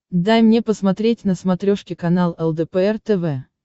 дай мне посмотреть на смотрешке канал лдпр тв